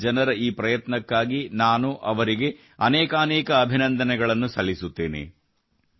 ಇಲ್ಲಿನ ಜನರ ಈ ಪ್ರಯತ್ನಕ್ಕಾಗಿ ನಾನು ಅವರಿಗೆ ಅನೇಕಾನೇಕ ಅಭಿನಂದನೆ ಸಲ್ಲಿಸುತ್ತೇನೆ